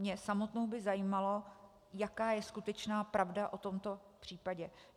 Mě samotnou by zajímalo, jaká je skutečná pravda o tomto případě.